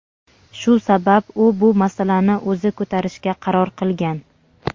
Shu sabab u bu masalani o‘zi ko‘tarishga qaror qilgan.